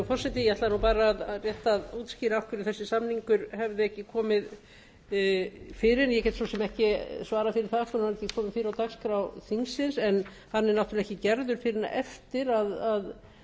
ekki svarað fyrir það hvers vegna hann kom ekki fyrr á dagskrá þingsins en hann er náttúrlega ekki gerður fyrr en eftir að